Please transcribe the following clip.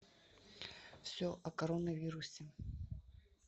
все о коронавирусе